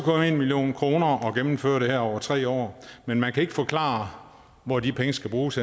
million kroner at gennemføre det her over tre år men man kan ikke forklare hvor de penge skal bruges